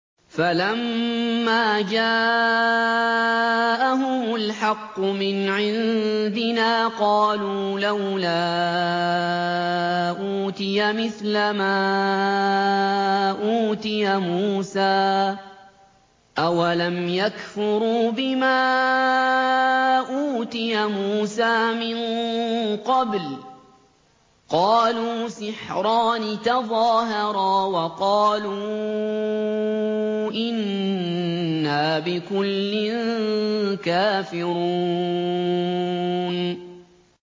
فَلَمَّا جَاءَهُمُ الْحَقُّ مِنْ عِندِنَا قَالُوا لَوْلَا أُوتِيَ مِثْلَ مَا أُوتِيَ مُوسَىٰ ۚ أَوَلَمْ يَكْفُرُوا بِمَا أُوتِيَ مُوسَىٰ مِن قَبْلُ ۖ قَالُوا سِحْرَانِ تَظَاهَرَا وَقَالُوا إِنَّا بِكُلٍّ كَافِرُونَ